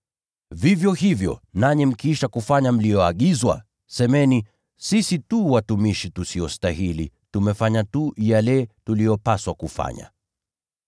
Vivyo hivyo nanyi mkiisha kufanya mliyoagizwa, semeni, ‘Sisi tu watumishi tusiostahili; tumefanya tu yale tuliyopaswa kufanya.’ ”